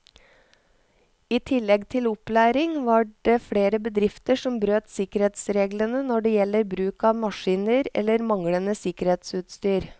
I tillegg til opplæring var det flere bedrifter som brøt sikkerhetsreglene når det gjelder bruk av maskiner eller manglende sikkerhetsutstyr.